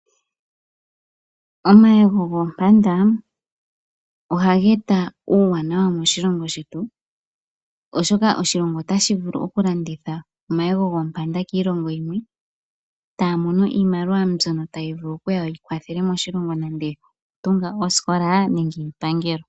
Omayego goompanda ohaga eta uuwanawa moshilongo shetu, oshoka oshilongo ota shi vuli oku landitha omayego goompanda kiilongo yimwe, eta ya mono iimaliwa mbyono tayi vulu oku kwathela moshilongo nande oku tunga oosikola nande iipangelo.